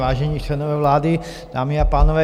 Vážení členové vlády, dámy a pánové.